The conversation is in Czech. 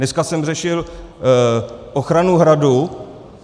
Dneska jsem řešil ochranu Hradu.